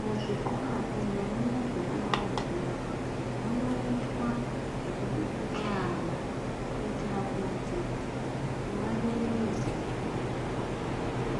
Muzvikora kunyanya-nyanya zvekumaruzevha munoitwa zvekubikira ana. Kuitira kuti vaderedze